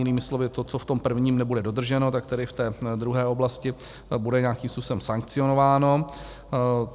Jinými slovy to, co v tom prvním nebude dodrženo, tak tady v té druhé oblasti bude nějakým způsobem sankcionováno.